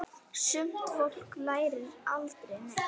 Sumt fólk lærir aldrei neitt.